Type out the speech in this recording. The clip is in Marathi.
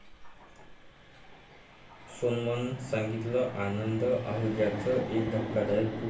सोनमनं सांगितलं आनंद आहुजाचं एक धक्कादायक गुपित!